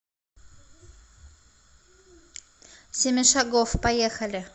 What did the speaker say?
семишагофф поехали